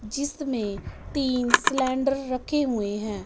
जिसमें तीन सिलेंडर रखे हुए हैं।